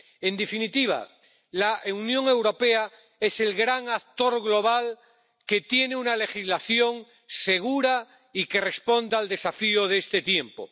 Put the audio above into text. En definitiva, la Unión Europea es el gran actor global que tiene una legislación segura y que responde al desafío de este tiempo.